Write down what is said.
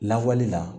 Lawali la